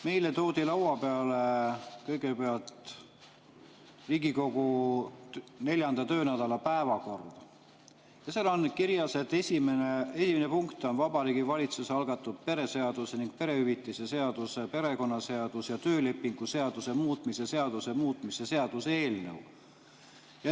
Meile toodi lauale kõigepealt Riigikogu 4. töönädala päevakord ja seal on kirjas, et esimene punkt on Vabariigi Valitsuse algatatud pere seaduse ning perehüvitiste seaduse, perekonnaseaduse ja töölepingu seaduse muutmise seaduse muutmise seaduse eelnõu.